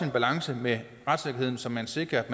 i balance med retssikkerheden så man sikrer at